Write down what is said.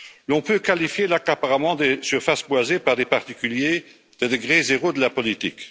On peut qualifier l'accaparement des surfaces boisées par des particuliers de degré zéro de la politique.